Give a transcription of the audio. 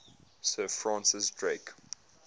sir francis drake